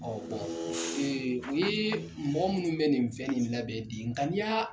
u ye mɔgɔ minnu bɛ nin fɛn in labɛn de nk ni y'a